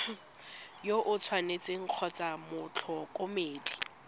yo o tshwanetseng kgotsa motlhokomedi